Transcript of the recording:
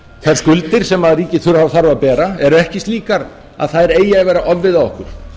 þær skuldir sem ríkissjóður þarf að bera eru ekki slíkar að þær eigi að vera ofviða okkur